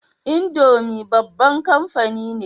Indomie babban kamfani ne